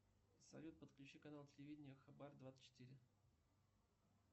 салют подключи канал телевидения хабар двадцать четыре